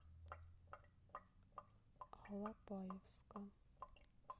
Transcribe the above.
алапаевска